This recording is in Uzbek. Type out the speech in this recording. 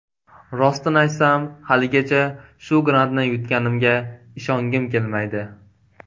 Rostini aytsam, haligacha, shu grantni yutganimga ishongim kelmaydi.